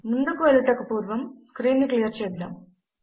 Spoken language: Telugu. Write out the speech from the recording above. ముందుకు వెళ్ళుటకు పూర్వము స్క్రీన్ ను క్లియర్ చేద్దాము